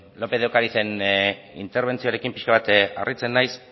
lópez de ocarizen interbentzioarekin pixka bat harritzen naiz